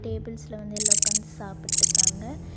டேபிள்ஸ்ல வந்து எல்லா ஒக்காந்து சாப்பிட்டுக்காங்க.